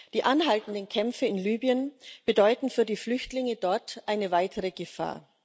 Die anhaltenden Kämpfe in Libyen bedeuten für die Flüchtlinge dort eine weitere Gefahr.